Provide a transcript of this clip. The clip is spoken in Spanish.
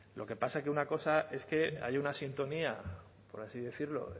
lo que pasa que una cosa es que haya una sintonía por así decirlo